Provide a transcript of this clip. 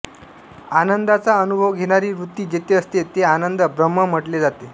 आनंदाचा अनुभव घेणारी वृत्ती जेथे असते ते आनंद ब्रम्ह म्हटले जाते